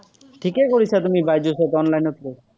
ঠিকেই কৰিছা তুমি বাইজুচত online ত লৈ।